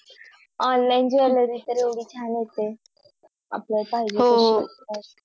Online jewellery तर एवढी छान येते आपल्याला पाहिजे हो तशी